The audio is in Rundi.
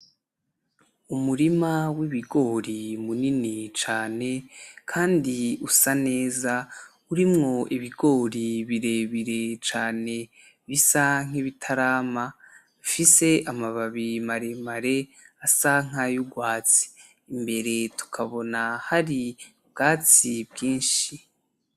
Umurima w'ibigori munini cane kandi usa neza, urimwo ibigori birebire cane bisa nk'ibitarama, bifise amababi maremare asa nk'ay'urwatsi. Imbere tukabona hari ubwatsi bwinshi.